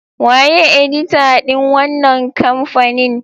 Waye edita din wannan kamfanin?